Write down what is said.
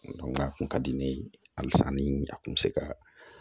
a kun ka di ne ye hali san ni a kun mi se ka